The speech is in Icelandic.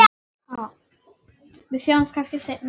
Við sjáumst kannski seinna.